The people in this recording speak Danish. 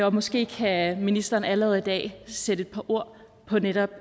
og måske kan ministeren allerede i dag sætte et par ord på netop